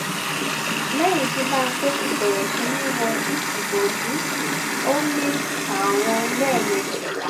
lẹyìn tí mbappe ti bẹrẹ sí ní wo ìbòjú ó mi àwọn lẹẹ méjì